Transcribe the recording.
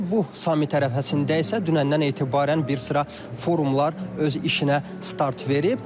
Bu sammit ərəfəsində isə dünəndən etibarən bir sıra forumlar öz işinə start verib.